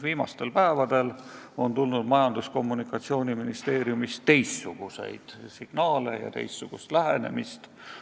Viimastel päevadel on Majandus- ja Kommunikatsiooniministeeriumist tulnud teistsuguseid signaale, on tunda teistsugust lähenemist.